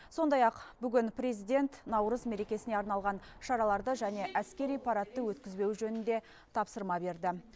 сондай ақ бүгін президент наурыз мерекесіне арналған шараларды және әскери парадты өткізбеу жөнінде тапсырма берді